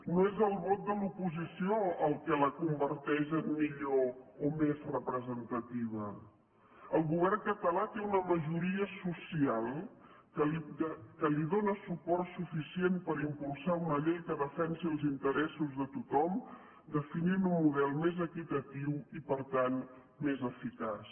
no és el vot de l’oposició el que la converteix en millor o més representativa el govern català té una majoria social que li dóna suport suficient per impulsar una llei que defensi els interessos de tothom definint un model més equitatiu i per tant més eficaç